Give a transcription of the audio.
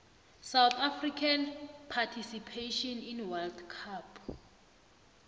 south african participation in world war